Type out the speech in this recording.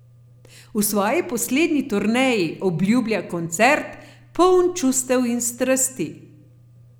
V svoji poslednji turneji, obljublja koncert, poln čustev in strasti.